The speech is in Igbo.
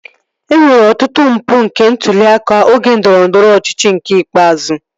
E nwere ọtụtụ mpụ nke ntụli aka oge ndọrọndọrọ ọchịchị nke ikpeazụ